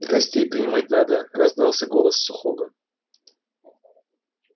гостей принимать надо раздался голос сухого